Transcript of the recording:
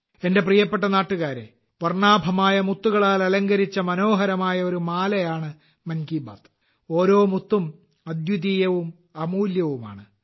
എന്റെ പ്രിയപ്പെട്ട നാട്ടുകാരെ വർണ്ണാഭമായ മുത്തുകളാൽ അലങ്കരിച്ച മനോഹരമായ ഒരു മാലയാണ് മൻ കി ബാത്ത് ഓരോ മുത്തും അദ്വിതീയവും അമൂല്യവുമാണ്